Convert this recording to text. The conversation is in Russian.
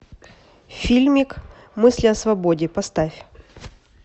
фильмик мысли о свободе поставь